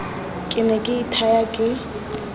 ke ne ke ithaya ke